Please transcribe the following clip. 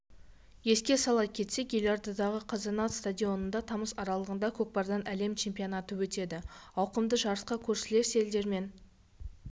еске сала кетсек елордадағы қазанат стадионында тамыз аралығында көкпардан әлем чемпионаты өтеді ауқымды жарысқа көршілес елдермен